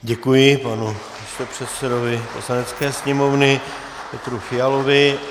Děkuji panu místopředsedovi Poslanecké sněmovny Petru Fialovi.